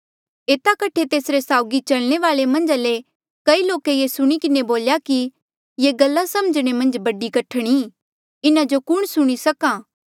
एता कठे तेसरे साउगी चलने वाले मन्झा ले कई लोके ये सुणी किन्हें बोल्या कि ये गल्ला समझणे मन्झ बड़ी कठण ई इन्हा जो कुण सुणी सक्हा